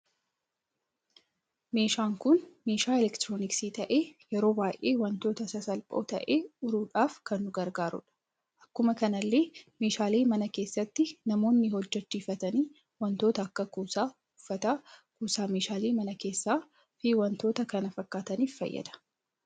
Meeshaan kun meeshaa elektirooniksii ta'e yeroo baay'ee wantoota sasalphoo ta'e uruudhaf kan nu gargaarudha. Akkuma kanallee meeshalee mana keessatti namoonni hojjechiiftani wantoota akka kuusa uffata, kuusaa meeshaalee mana keessaa fi wantoota kana fakkatanif fayyada.